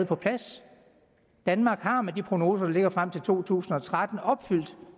på plads danmark har med de prognoser der ligger frem til to tusind og tretten opfyldt